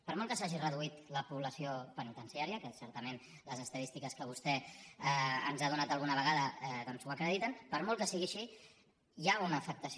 per molt que s’hagi reduït la població penitenciària que certament les estadístiques que vostè ens ha donat alguna vegada ho acrediten per molt que sigui així hi ha una afectació